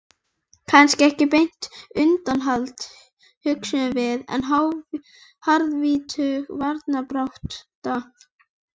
Kannski ekki beint undanhald, hugsuðum við, en harðvítug varnarbarátta.